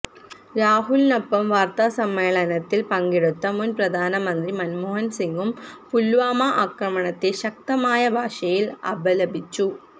രാഹുലിനൊപ്പം വാര്ത്താസമ്മേളനത്തില് പങ്കെടുത്ത മുന് പ്രധാനമന്ത്രി മന്മോഹന് സിങ്ങും പുല്വാമ ആക്രമണത്തെ ശക്തമായ ഭാഷയില് അപലപിച്ചു